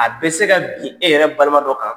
A bɛ se ka bin e yɛrɛ balima dɔ kan,